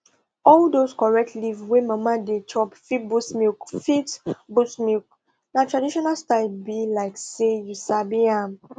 all those correct leaf wey mama dey chop fit boost milk fit boost milk na traditional style be like say you sabi am